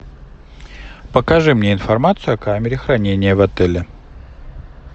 покажи мне информацию о камере хранения в отеле